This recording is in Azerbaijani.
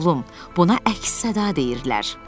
Oğlum, buna əks-səda deyirlər.